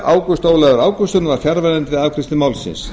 ágúst ólafur ágústsson var fjarverandi við afgreiðslu málsins